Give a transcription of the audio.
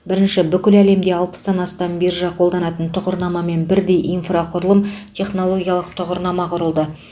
бірінші бүкіл әлемде алпыстан астам биржа қолданатын тұғырнамамен бірдей инфрақұрылым технологиялық тұғырнама құрылды